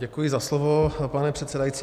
Děkuji za slovo, pane předsedající.